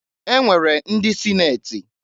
E nwere ndị sineti.